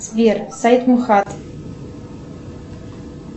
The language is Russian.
сбер сайт мухад